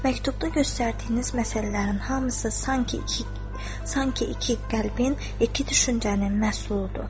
Məktubda göstərdiyiniz məsələlərin hamısı sanki iki qəlbin, iki düşüncənin məhsuludur.